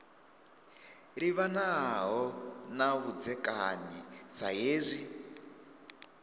livhanaho na vhudzekani sa hezwi